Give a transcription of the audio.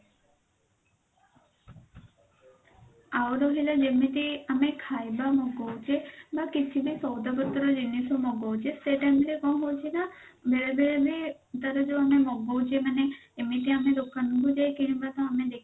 ଆଉ ରହିଲା ଯେମିତି ଆମେ ଖାଇବା ମଗଉଛେ ବା କିଛି ବି ସଉଦା ପତ୍ର ଜିନିଷ ମଗଉଛେ ସେ time ରେ କଣ ହଉଛି ନା ବେଳେ ବେଳେ ବି ତାର ଯଉ ଆମେ ମଗଉଛେ ମାନେ ଏମିତି ଆମେ ଦୋକାନ କୁ ଯାଇକରି ଆମେ